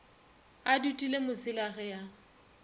a dutile mosela ge a